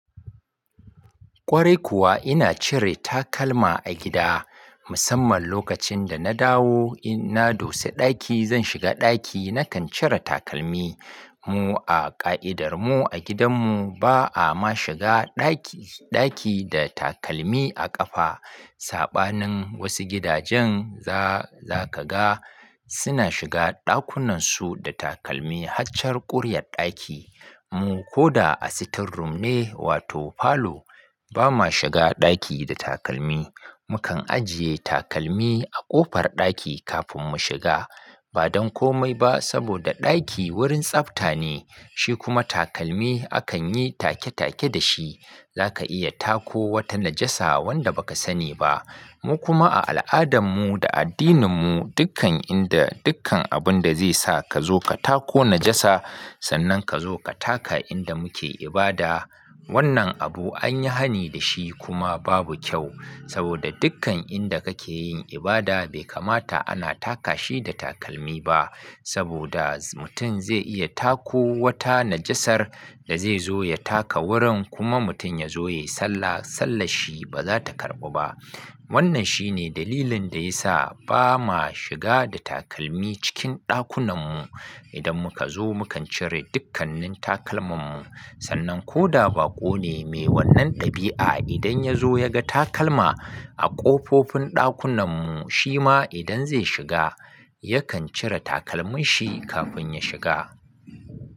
Kwarai kuwa ina cire takalma a gida, musamman lokacin da na dawo inna dosa ɗaki, zan shiga ɗaki nakan cire takalmi. Mu a ƙa'idar mu a gidan mu ba a ma shiga ɗaki, ɗaki da takalmi a ƙafa. Saɓanin wasu gidajen za-za ka ga suna shiga ɗakunan su da takalmi har char ƙuriya ɗaki. Mu ko da a sitting room ne wato falo ba ma shiga ɗaki da takalmi. Mukan ajiye takalmi a ƙofar ɗaki kafin mu shiga. Ba don komai ba saboda ɗaki wurin tsafta ne shi kuma takalmi akan yi take-take da shi. Za ka iya tako wata najasa wanda ba ka sani ba. Mu kuma a al'adan mu da addinin mu dukkan inda dukkan abun da zai sa ka zo ka tako najasa sannan ka zo ka taka inda muke ibada. Wannan abu an yi hani da shi kuma babu kyau saboda dukkan inda kake yin ibada bai kamata ana taka shi da takalmi ba saboda mutum zai iya tako wata najasar da zai zo ya taka wurin kuma mutum ya zo ya yi sallah, sallar shi ba za ta karɓa ba. Wannan shine dalilin da ya sa ba ma shiga da takalmi cikin ɗakunan mu. Idan muka zo mu kan cire dukkanin takalman mu sannan ko da baƙo ne mai wannan ɗabi'a idan ya zo ya ga takalma a ƙofofin ɗakunan mu shi ma idan zai shiga yakan cire takalmin shi kafin ya shiga.